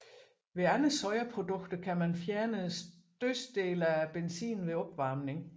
Ved andre sojaprodukter kan man fjerne størstedelen af benzinen ved opvarmning